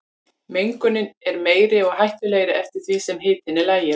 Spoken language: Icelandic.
Mengunin er meiri og hættulegri eftir því sem hitinn er lægri.